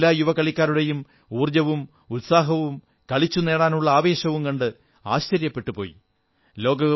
ഞാൻ എല്ലാ യുവ കളിക്കാരുടെയും ഊർജ്ജവും ഉത്സാഹവും കളിച്ചു നേടാനുള്ള ആവേശവും കണ്ട് ആശ്ചര്യപ്പെട്ടുപോയി